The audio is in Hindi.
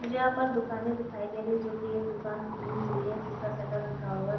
मुझे यहाँ पर दुकाने दिखाई दे रही है जो की एक दुकान खुली हुई है। जिसका शटर उठा हुआ --